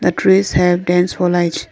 the trees have dense foliage.